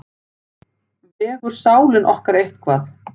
Vegur sálin okkar eitthvað?